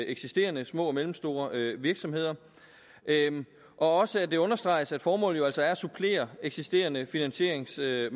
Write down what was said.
eksisterende små og mellemstore virksomheder og også at det understreges at formålet jo altså er at supplere eksisterende finansieringsmarkeder